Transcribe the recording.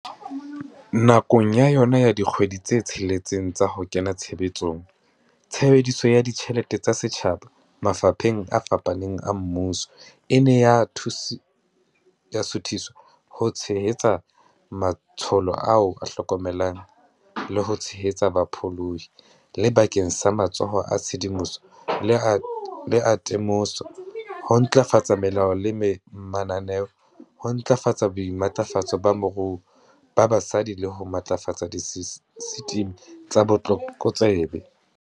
Nakong ya yona ya dikgwedi tse tsheletseng tsa ho kena tshebetsong, tshebediso ya ditjhelete tsa setjhaba mafapheng a fapaneng a mmuso e ne ya suthiswa ho tshe-hetsa matsholo a ho hlokomela le ho tshehetsa bapholohi, le bakeng sa matsholo a tshedimoso le a te-moso, ho ntlafatsa melao le mananeo, ho ntlafatsa boimatlafatso ba moruo ba basadi le ho matlafatsa disesitimi tsa botlokotsebe.